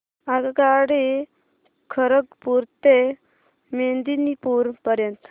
आगगाडी खरगपुर ते मेदिनीपुर पर्यंत